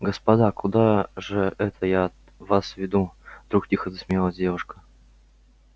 господи куда же это я вас веду вдруг тихо засмеялась девушка